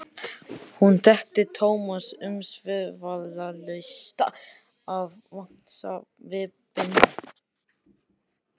Hún þekkti Thomas umsvifalaust af vangasvipnum.